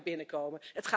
binnenkomen.